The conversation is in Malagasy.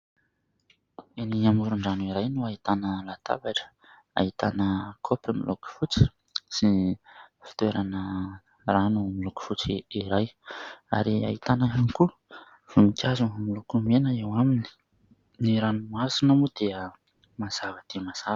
Eny amoron-drano iray no ahitana latabatra, ahitana kaopy miloko fotsy sy fitoerana rano miloko fotsy iray, ary ahitana ihany koa voninkazo miloko mena eo aminy. Ny ranomasina moa dia mazava dia mazava.